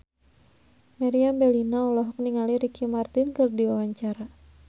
Meriam Bellina olohok ningali Ricky Martin keur diwawancara